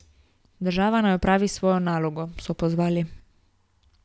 Država naj opravi svojo nalogo, so pozvali.